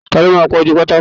Ta ló máa pa ojúu pátákó rẹ́?